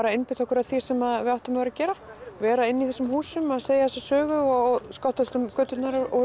einbeita okkur að því sem við áttum að vera að gera vera inni í þessum húsum að segja þessa sögu og skottast um göturnar að